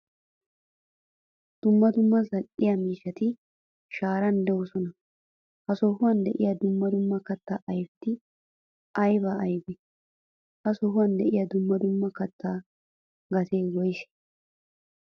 Dumma dumma zal'e miishshati sharan deosona. Ha sohuwan de'iyaa dumma dumma katta ayfetti aybe aybe? Ha sohuwan de'iyaa dumma dumma katta gatee woyse?